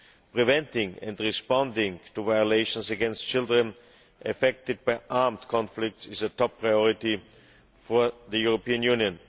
Preventing and responding to violations against children affected by armed conflicts is a top priority for the European Union.